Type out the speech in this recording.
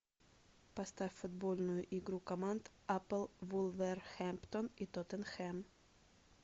поставь футбольную игру команд апл вулверхэмптон и тоттенхэм